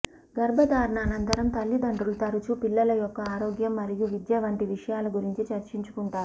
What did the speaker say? గర్భధారణ అనంతరం తల్లిదండ్రులు తరచూ పిల్లల యొక్క ఆరోగ్యం మరియు విద్య వంటి విషయాల గురించి చర్చించుకుంటారు